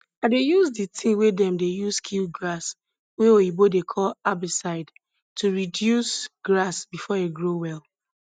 i dey use di tin wey dem dey use kill grass wey oyibo dey call herbicide to reduce grass before e grow well